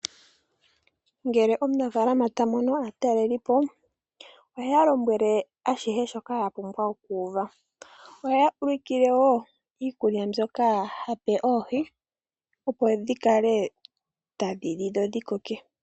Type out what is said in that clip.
Ngele omunafaalama tamono aataleli po oheya lombwele ashihe shoka ye na okuuva. Oheya ulikile wo iikulya mbyoka hape oohi opo dhikale tadhi li dho dhikoke.